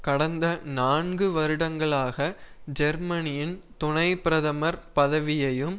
கடந்த நான்கு வருடங்களாக ஜெர்மனியின் துணை பிரதமர் பதவியையும்